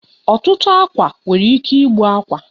Ọtụtụ agwa nwere ike igbu akwa.